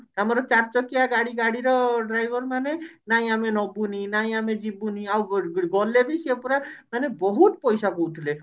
ଆମର ଚାରି ଚକିଆ ଗାଡି ଗାଡିର driver ମାନେ ନାଇଁ ଆମେ ନବୁନି ନାଇଁ ଆମେ ଯିବୁନି ଆଉ ଗୋଟେଗୋଟେ ଗଲେବି ସେ ପୁରା ମାନେ ବହୁତ ପଇସା କହୁଥିଲେ